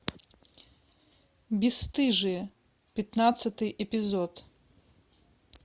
бесстыжие пятнадцатый эпизод